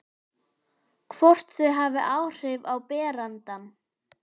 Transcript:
Hvort þau hafi áhrif á berandann.